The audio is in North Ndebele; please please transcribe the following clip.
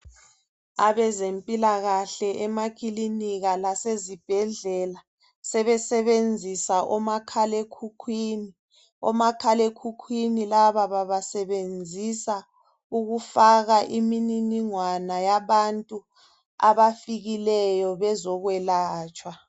Abezempilakahle emakilinika lasezibhedlela sebesebenzisa omakhalekhukhwini. Omakhalekhukhwini laba babasebenzisa ukufaka imininingwana yabantu abafikileyo bezokwelatshwa.